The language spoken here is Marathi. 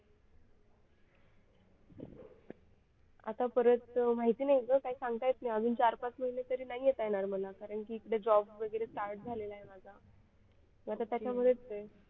आतापर्यंत माहिती नाही ग काही सांगता येत नाही अजून चार-पाच महिने तरी नाही येता येणार मला कारण की इकडे job वगैरे start झालेला आहे माझा आता त्याच्यामुळे इथेच आहे